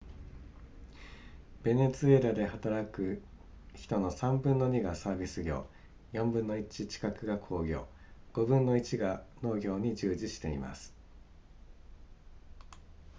ベネズエラで働く人の3分の2がサービス業4分の1近くが工業5分の1が農業に従事しています